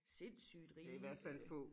Sindssygt rige øh